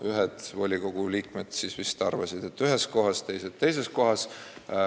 Ühed volikogu liikmed vist arvasid, et ühes kohas, teised, et teises kohas.